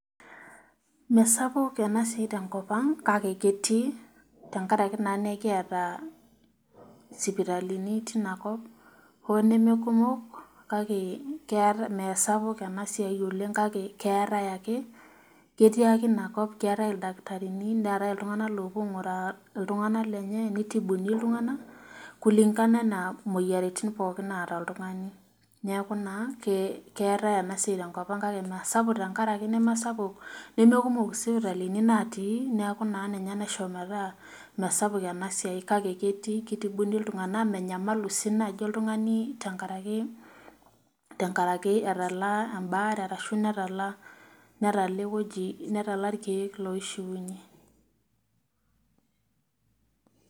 Meesapuk ena siai tenkop ang kake ketii tenkaraki naa naa ekiata sipitalini tinakop ,hoo duo nemekumok kake meesapuk ena siai oleng kake keetai ake ,ketii ake ina kop keetae oldakitarini neetae iltunganak oopuo ainguraa iltunganak lenye ,neitibuni iltunganak kulingana anaa moyiaritin naata oltungani. neeku naa keetae ena siai tenkop ang kake meesapuk tenkaraki nemekumok isipitalini natii neeku ninye naa naishopi metaa mesapuk ena siai kake keitibuni iltunganak ,menyamalu sii naji oltungani tenkaraki etala embaare orashu netala irkeek loishiunyie .